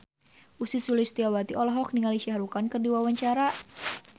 Ussy Sulistyawati olohok ningali Shah Rukh Khan keur diwawancara